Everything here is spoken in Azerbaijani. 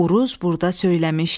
Uruz burda söyləmişdi.